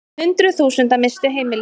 Hundruð þúsunda misstu heimili sín.